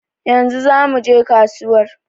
Yanzu za muje kasuwar